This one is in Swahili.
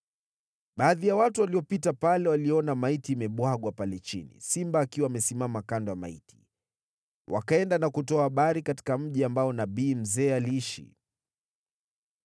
Baadhi ya watu waliopita pale waliona maiti imebwagwa pale chini, simba akiwa amesimama kando ya maiti, wakaenda na kutoa habari katika mji ambao nabii mzee aliishi.